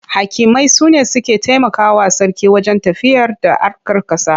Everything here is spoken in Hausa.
Hakimai su ne suke taimakawa sarki wajen tafiyarda harkar ƙasa.